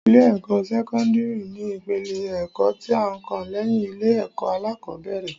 Ilé-ẹ̀kọ́ sẹ́kọ́ndírì ni ìpele ẹ̀kọ́ tí ó kàn lẹ́yìn ilé-ẹ̀kọ́ alákọ́bẹ̀rẹ̀